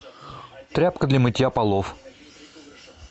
тряпка для мытья полов